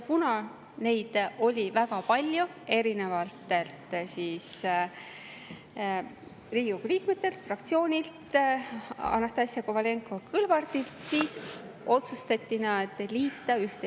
Kuna ettepanekuid oli väga palju erinevatelt Riigikogu liikmetelt ja fraktsioonidelt, ka Anastassia Kovalenko-Kõlvartilt, siis otsustati need ühte liita.